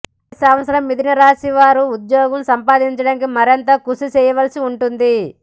ఈ సంవత్సరం మిధునరాశి వారు ఉద్యోగం సంపాదించడానికి మరింత కృషి చేయవలిసి ఉంటుంది